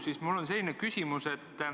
Seega on mul teile selline küsimus.